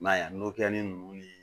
I m'a ye n'o kɛli nunnu ni